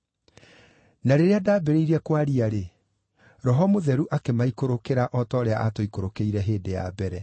“Na rĩrĩa ndaambĩrĩirie kwaria-rĩ, Roho Mũtheru akĩmaikũrũkĩra o ta ũrĩa aatũikũrũkĩire hĩndĩ ya mbere.